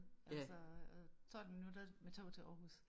Altså og 12 minutter med toget til Aarhus